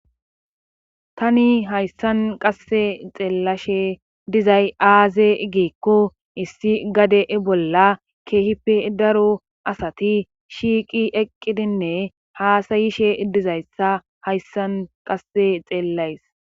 Tani hayssan qasse xeellashe dizay aaze igikko issi gade bolla keehipe daro asati shiiqi eqqidinne haasayishe dizayssa hayssan qasse xeellays